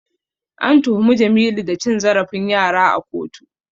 An tuhumi Jamilu da cin zarafin yara a kotu.